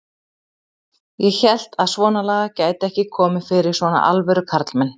Ég hélt að svonalagað gæti ekki komið fyrir svona alvöru karlmenn.